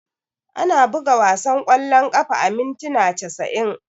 Ana buga wasan kwallon kafa a mintuna casa'in.